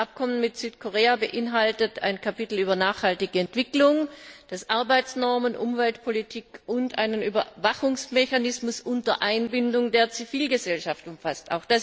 Das Abkommen mit Südkorea beinhaltet ein Kapitel über nachhaltige Entwicklung, das Arbeitsnormen, Umweltpolitik und einen Überwachungsmechanismus unter Einbindung der Zivilgesellschaft umfasst.